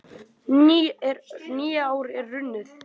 Nýár er runnið!